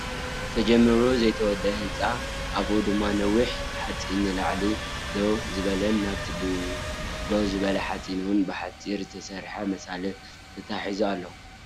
ተጀምሩ ዘይተወደአ ህንፃ ኣብኡ ድማ ነዊሕ ሓፂን ንላዕሊ ደው ዝበለን ናበቲ ደው ዝበለ ሓፂን እውን ብሓፂን ዝተሰረሓ መሳልል ታታሒዙ ኣሎ።